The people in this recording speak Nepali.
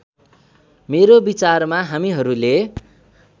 मेरो विचारमा हामीहरूले